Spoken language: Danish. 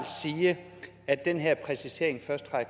sige at den her præcisering først træder